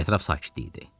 Ətraf sakit idi.